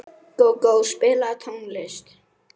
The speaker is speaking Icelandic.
Gógó, spilaðu tónlist.